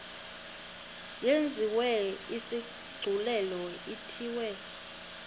yenziwe isigculelo ithiwe